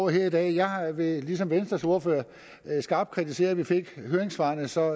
her i dag jeg vil ligesom venstres ordfører skarpt kritisere at vi fik høringssvarene så